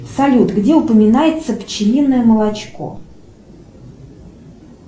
салют где упоминается пчелиное молочко